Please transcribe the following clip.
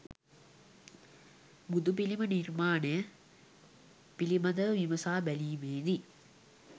බුදුපිළිම නිර්මාණය පිළිබඳව විමසා බැලීමේදී